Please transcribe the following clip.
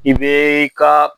I be i ka